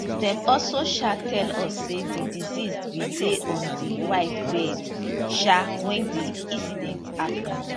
dem also um tell us say di deceased bin dey on di wife bed um wen di incident happun